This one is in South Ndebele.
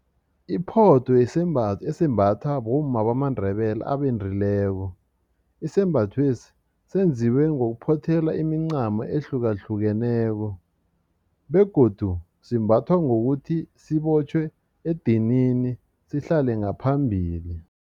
Iphotho sisembatho esimbathwa bomma bamaNdebele abendileko isembathwesi senziwe ngokuphothela imincamo ehlukahlukeneko begodu simbathwa ngokuthi sibotjhwe edinini sihlale ngaphambili.